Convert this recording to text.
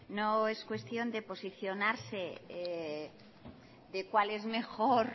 no es cuestión de posicionarse de cual es mejor